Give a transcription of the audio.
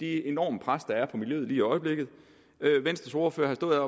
det enorme pres der er på miljøet i øjeblikket venstres ordfører har stået